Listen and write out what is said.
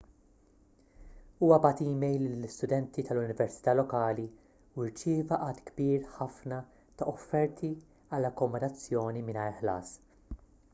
huwa bagħat email lill-istudenti tal-università lokali u rċieva għadd kbir ħafna ta' offerti għal akkomodazzjoni mingħajr ħlas